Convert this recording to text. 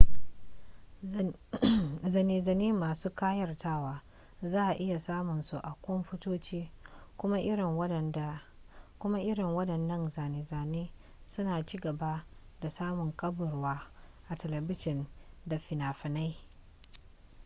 zane-zane masu kayatarwa za a iya samun su a kwamfutoci kuma irin wadannan zane-zanen suna ci gaba da samun karbuwa a telebijin da finafinai